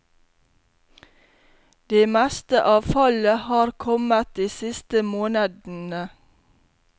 Det meste av fallet har kommet de siste månedene.